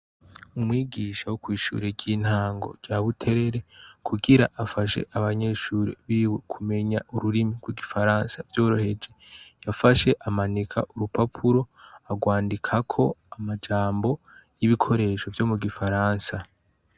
Umwigisha wo kw'ishuri ry'intango rya Buterere, kugira afashe abanyeshure biwe kumenya ururimi rw'igifaransa vyoroheje, yafashe amanika urupapuro agwandikako amajambo y'ibikoresho vyo mu gifaransa.